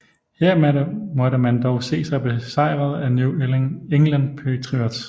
Her måtte man dog se sig besejret af New England Patriots